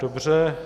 Dobře.